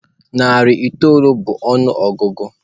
Narị itoolu bụ ọnụọgụgụ.